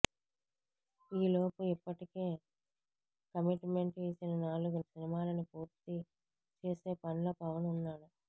ఈలోపు ఇప్పటికే commitment ఇచ్చిన నాలుగు సినిమాలని పూర్తి చేసే పనిలో పవన్ ఉన్నాడు